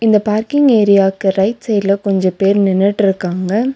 இந்த பார்க்கிங் ஏரியாக்கு ரைட் சைடுல கொஞ்ச பேர் நின்னுட்ருக்காங்க.